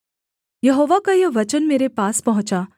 यहोवा का यह वचन मेरे पास पहुँचा